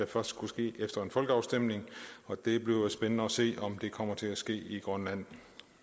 først skulle ske efter en folkeafstemning og det bliver jo spændende at se om det kommer til at ske i grønland